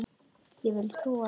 Ég vil ekki trúa því.